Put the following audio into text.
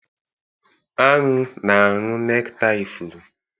Anụ na-aṅụ nektar ifuru.